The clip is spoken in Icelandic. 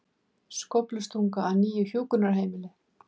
Skóflustunga að nýju hjúkrunarheimili